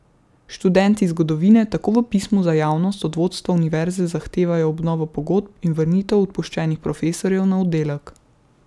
Študenti zgodovine tako v pismu za javnost od vodstva univerze zahtevajo obnovo pogodb in vrnitev odpuščenih profesorjev na oddelek.